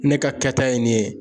Ne ka kɛta ye nin ye